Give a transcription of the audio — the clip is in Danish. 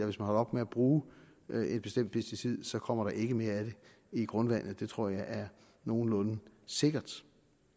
hvis man holder op med at bruge et bestemt pesticid kommer der ikke mere af det i grundvandet det tror jeg er nogenlunde sikkert